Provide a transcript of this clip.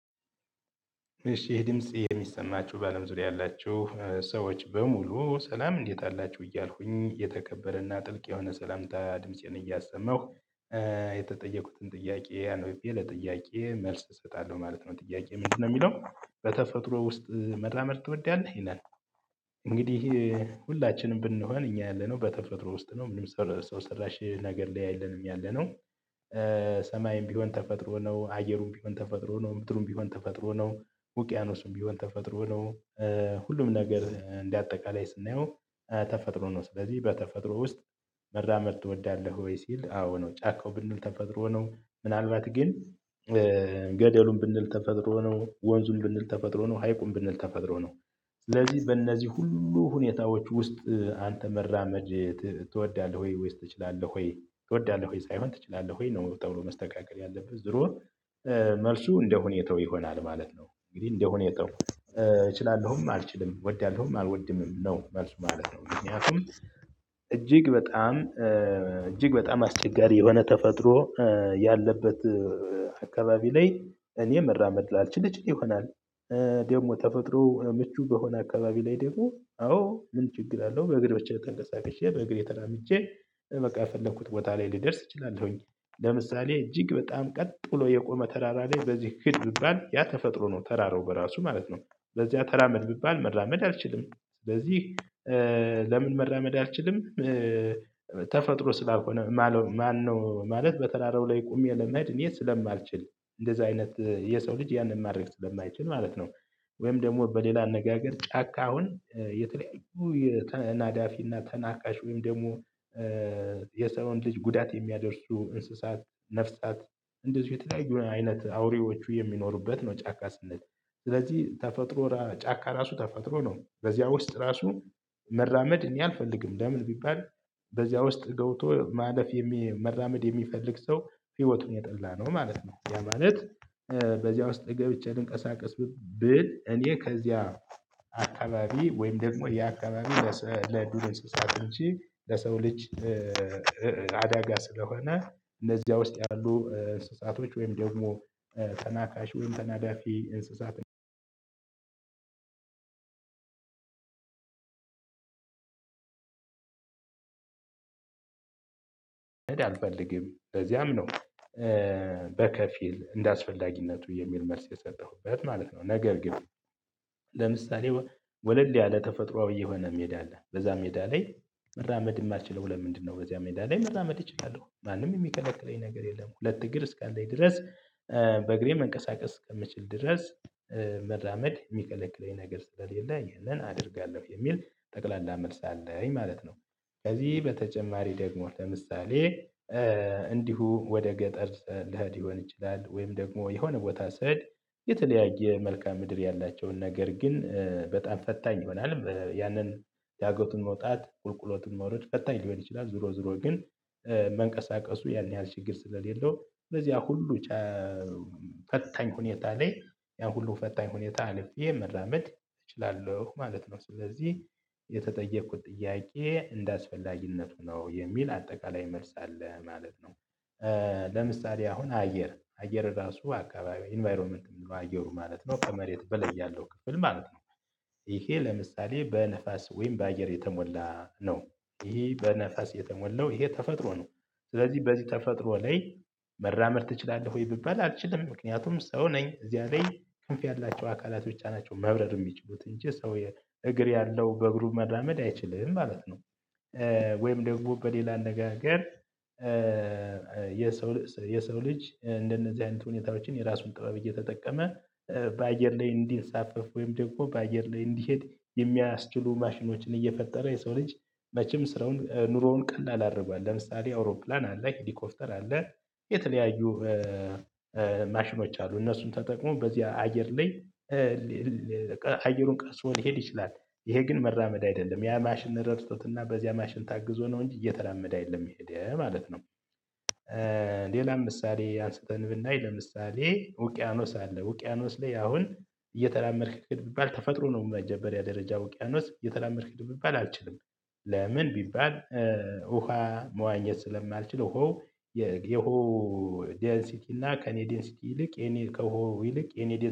እሺ ይህ ድምጽ የሚሰማችሁ በአለም ዙሪያ ያላችሁ ሰዎች በሙሉ ሰላም እንዴት አላችሁ እያልኩኝ የተከበረና ጥልቅ የሆነ ሰላምታ ድምፄን እያሰማሁ የተጠየቁትን ጥያቄ አንብቤ ለጥያቄየ መልስ እሰጣለሁ ማለት ነው። ጥያቄ ምንድነው የሚለው በተፈጥሮ ውስጥ መራመድ ትወዳለህ ይላል? እንግዲህ ሁላችንም ብንሆን እኛ ያለነው በተፈጥሮ ውስጥ ነው ምንም ሰው ሰራሽ ነገር ላይ አይደለንም ያለነው። ሰማይም ቢሆን ተፈጥሮ ነው አየሩም ቢሆን ተፈጥሮ ነው ምድሩም ቢሆን ተፈጥሮ ነው። ውቅያኖስም ቢሆን ተፈጥሮ ነው። ሁሉም ነገር እንደአጠቃላይ ስናየው ተፈጥሮ ነው። ስለዚህ በተፈጥሮ ውስጥ መራመመድ ትወዳለህ ወይ ሲል አዎ ነው። ጫካው ብንል ተፈጥሮ ነው። ምናልባት ግን ገደሉን ብንል ተፈጥሮ ነው። ወንዙን ብንል ተፈጥሮ ነው። ሃይቁን ብንል ተፈጥሮ ነው። ስለዚህ በእነዚህ ሁሉ ሁኔታዎች ውስጥ አንተ መራመድ ትወዳለህ ወይስ ትችላለህ ወይ ትወዳለህ ሆይ ሳይሆን ትችላለህ ሆይ ነው። ጥያቄው መስተካከል ያለብህ ዙሮ መልሱ እንደሁኔታው ይሆናል ማለት ነው። እንግዲህ እንደሆኔታወ እችላለሁም አልችልም እወዳለሁም አልወድምም ነው መልሱ ማለት ነው። ምክንያቱም እጅግ በጣም እጅግ በጣም አስቸጋሪ የሆነ ተፈጥሮ ያለበት አካባቢ ላይ እኔ መራመድ ላልችል እችል ይሆናል። ደግሞ ተፈጥሮ ምቹ በሆነ አካባቢ ላይ ደግሞ አዎ ምን ችግር አለው? በእግር ብቻ ተንቀሳቅሸ በእግሮቼ ተራምጄ በቃ እፈለኩት ቦታ ላይ ልደርስ እችላለሁኝ። ሁሉም ነገር እንደአጠቃላይ ስናየው ተፈጥሮ ነው። ስለዚህ በተፈጥሮ ውስጥ መራመመድ ትወዳለህ ወይ ሲል አዎ ነው። ጫካው ብንል ተፈጥሮ ነው ምናልባት ግን ለምን መራመድ አልችልም? ተፈጥሮ ስላልሆነ ማነው ማለት በተራራው ላይ ቆሜ ለመሄድ እኔ ስለማልችል እንደዛ አይነት የሰው ልጅ ያንን ማድረግ ስለማይችል ማለት ነው። ወይም ደግሞ በሌላ አነጋገር ጫካውን የተለያዩ ተናዳፊና ተናካሽ ወይም ደግሞ የሰውን ልጅ ጉዳት የሚያደርሱ እንስሳት ነፍሳት እንደዚሁ የተለያዩ አይነት አውሬዎቹ የሚኖሩበት ነው። ጫካ ስንል ስለዚህ ተፈጥሮ ጫካ ራሱ ተፈጥሮ ነው። በዚያ ውስጥ ራሱ መራመድ እኔ አልፈልግም። ለምን ቢባል በዚያ ውስጥ ገብቶ ማለፍ መራመድ የሚፈልግ ሰው ህይወቱን የጠላ ነው ማለት ነው። ያ ማለት። በዚያ ውስጥ ገብቼ ልንቀሳቀስ ብል እኔ ከዚያ አካባቢ ወይም ደግሞ የአካባቢ ለዱር እንስሳት ውጭ ለሰው ልጅ አዳጋ ስለሆነ እነዚያ ውስጥ ያሉ እንስሳቶች ወይም ደግሞ ተናካሽ ወይም ተናዳፊ እንስሳት። አልፈልግም ለዚያምነው በከፊል እንደአስፈላጊነቱ የሚል መልስ የሰጠሁበት ማለት ነው። ነገር ግን ለምሳሌ ወለል ያለ ተፈጥሮአዊ የሆነ ሜዳ አለ በዛ ሜዳ ላይ መራመድ የማትችለው ለምንድነው በዚያ ሜዳ ላይ መራመድ እችላለሁ ማንም የሚከለክለኝ ነገር የለም። ሁለት እግር እስካለኝ ድረስ በእግሬ መንቀሳቀስ እከምችል ድረስ መራመድ የሚከለከለኝ ነገር ስለሌለ ያንን አደርጋለሁ የሚል ጠቅላላ መልስ አለኝ ማለት ነው። ከዚህ በተጨማሪ ደግሞ ለምሳሌ እንዲሁ ወደ ገጠር ልሄድ ሊሆን ይችላል ወይም ደግሞ የሆነ ቦታ ስሄድ የተለያየ መልካም ምድር ያላቸውን ነገር ግን በጣም ፈታኝ ይሆናል ያንን ዳገቱን መውጣት ቁልቁሎቱን መውረድ ፈታኝ ሊሆን ይችላል። ዞሮ ዞሮ ግን መንቀሳቀሱ ያን ያህል ችግር ስለሌለው በዚያ ሁሉ ፈታኝ ሁኔታ ላይ ያን ሁሉ ፈታኝ ሁኔታ አልፌ መራመድ እችላለሁ ማለት ነው። ስለዚህ የተጠየቅኩት ጥያቄ እንደአስፈላጊነቱ ነው የሚል አጠቃላይ መልስ አለ ማለት ነው። ለምሳሌ አሁን አየር አየር ራሱ አካባቢ ኢንቫይሮመንት ምንድነው? አየሩ ማለት ነው። ከመሬት በላይ ያለው ክፍል ማለት ነው። ይሄ ለምሳሌ በነፋስ ወይም በአየር የተሞላ ነው። ይሄ በነፋስ የተሞላው ይሄ ተፈጥሮ ነው። ስለዚህ በዚህ ተፈጥሮ ላይ መራመድ ትችላለህ ወይ? ብባል አልችልም ምክንያቱም ሰው ነኝ እዚያ ላይ ክንፍ ያላቸው አካላት ብቻ ናቸው መብረር የሚችሉት እንጂ ሰው እግር ያለው በእግሩ መራመድ አይችልም ማለት ነው። ወይም ደግሞ በሌላ አነጋገር የሰው ልጅ የሰው ልጅ እንደነዚህ አይነት ሁኔታዎችን የራሱን ጥበብ እየተጠቀመ በአየር ላይ እንዲንሳፈፍ ወይም ደግሞ በአየር ላይ እንዲሄድ የሚያስችሉ ማሽኖችን እየፈጠረ የሰው ልጅ መቼም ስራውን ኑሮውን ቀላል አድርጓል ለምሳሌ አውሮፕላን አለ ሄሊኮፍተር አለ። የተለያዩ ማሽኖች አሉ። እነሱም ተጠቅሞ በዚህ አየር ላይ አየሩን ቀዝፎ ሊሄድ ይችላል። ይሄ ግን መራመድ አይደለም ያ ማሽን ረድቶትና በዚያ ማሽን ታግዞ ነው እንጂ እየተራመደ አይደለም የሄድ ማለት ነው። ሌላም ምሳሌ አንስተን ብናይ ለምሳሌ ውቅያኖስ አለ ውቅያኖስ ላይ አሁን እየተራመድክ ሂድ ብባል ተፈጥሮ ነው በመጀመሪያ ደረጃ ውቅያኖስ እየተራመድክ ሂድ ቢባል አልችልም። ለምን ቢባል? ውሃ መዋኘት ስለማልችል ውሃው የውሃው ዴንሲቲ እና ከእኔ ዴንሲቲ ይልቅ የኔ ከውሃው ይልቅ የኔ